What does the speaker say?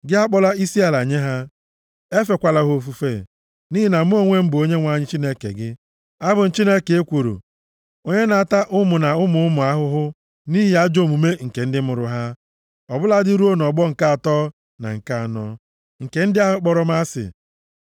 Gị akpọla isiala nye ha, efekwala ha ofufe, nʼihi na Mụ onwe m bụ Onyenwe anyị Chineke gị, abụ m Chineke ekworo. Onye na-ata ụmụ na ụmụ ụmụ ahụhụ, nʼihi ajọ omume nke ndị mụrụ ha, ọ bụladị ruo nʼọgbọ nke atọ na nke anọ, nke ndị ahụ kpọrọ m asị.